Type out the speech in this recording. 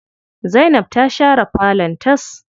Zainab ta share falon tas.